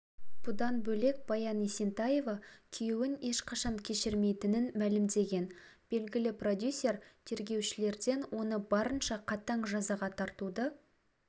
бұдан бөлек баян есентаева күйеуін ешқашан кешірмейтінін мәлімдеген белгілі продюсер тергеушілерден оны барынша қатаң жазаға тартуды